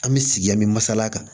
An bɛ sigi an bɛ masala kan